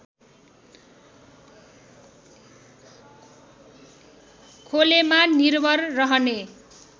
खोलेमा निर्भर रहने